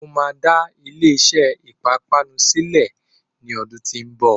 Mo máa dá ilé iṣé ìpápánu sílẹ ní ọdún tó ń bọ̀.